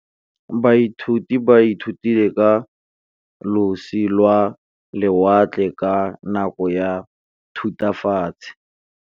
Baithuti ba ithutile ka losi lwa lewatle ka nako ya Thutafatshe.